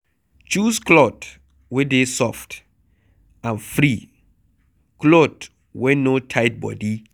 Choose cloth wey dey soft and free cloth wey no tight body